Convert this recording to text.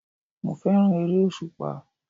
Mo fẹ́ràn ère-òṣùpá.